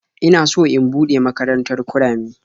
Ina so in buɗe makarantar kurame.